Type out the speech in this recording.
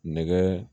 Nɛgɛ